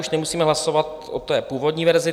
Už nemusíme hlasovat o té původní verzi.